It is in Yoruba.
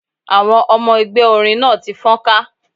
Àwọn ọmọ ẹgbẹ́ orin náà ti fọ́nká.